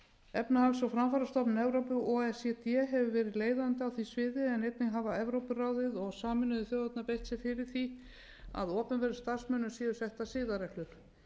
efnahags og framfarastofnun evrópu o e c d hefur verið leiðandi á því sviði en einnig hafa evrópuráðið og sameinuðu þjóðirnar beitt sér fyrir því að opinberum starfsmönnum séu settar siðareglur